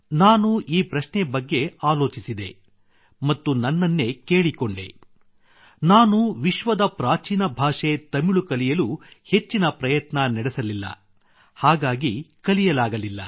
ನಾನು ಈ ಪ್ರಶ್ನೆ ಬಗ್ಗೆ ಆಲೋಚಿಸಿದೆ ಮತ್ತು ನನನ್ನೇ ಕೇಳಿಕೊಂಡೆ ನಾನು ವಿಶ್ವದ ಪ್ರಾಚೀನ ಭಾಷೆ ತಮಿಳು ಕಲಿಯಲು ಹೆಚ್ಚಿನ ಪ್ರಯತ್ನ ನಡೆಸಲಿಲ್ಲ ಹಾಗಾಗಿ ಕಲಿಯಲಾಗಲಿಲ್ಲ